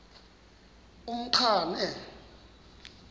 umqhano